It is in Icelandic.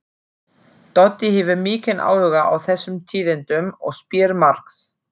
Doddi hefur mikinn áhuga á þessum tíðindum og spyr margs.